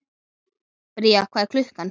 Bría, hvað er klukkan?